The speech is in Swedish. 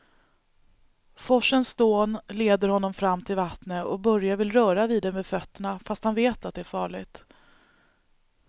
Forsens dån leder honom fram till vattnet och Börje vill röra vid det med fötterna, fast han vet att det är farligt.